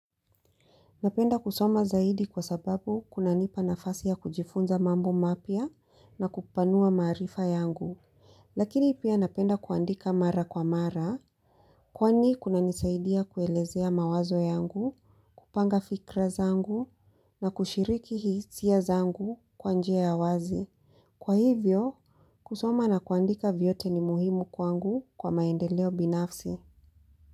Napenda kusoma zaidi kwa sababu kunanipa nafasi ya kujifunza mambo mapya na kupanua maarifa yangu. Lakini pia napenda kuandika mara kwa mara, kwani kunanisaidia kuelezea mawazo yangu, kupanga fikra zangu na kushiriki hisia zangu kwa njia ya wazi. Kwa hivyo, kusoma na kuandika vyote ni muhimu kwangu kwa maendeleo binafsi.